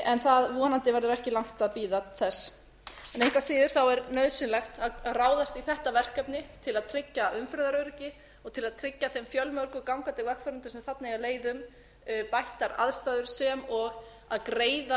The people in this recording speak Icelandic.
en það verður vonandi ekki langt að bíða þess en engu að síður er nauðsynlegt að ráðast í þetta verkefni til að tryggja umferðaröryggi og til að tryggja þeim fjölmörgu gangandi vegfarendum sem þarna eiga leið um bættar aðstæður sem og að greiða